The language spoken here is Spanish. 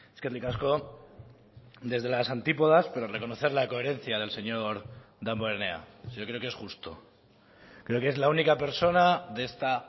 eskerrik asko desde las antípodas pero reconocer la coherencia del señor damborenea yo creo que es justo creo que es la única persona de esta